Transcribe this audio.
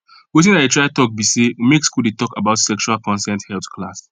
watin i dey try talk be say make school dey talk about sexual consent health class